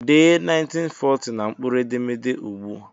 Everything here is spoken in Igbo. Dee 1490 na mkpụrụ edemede ugbu!